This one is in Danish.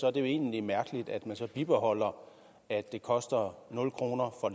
er det jo egentlig mærkeligt at man så bibeholder at det koster nul kroner for